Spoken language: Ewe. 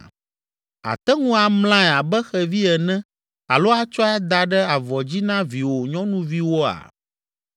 Àte ŋu amlae abe xevi ene alo atsɔe ada ɖe avɔ dzi na viwò nyɔnuviwoa?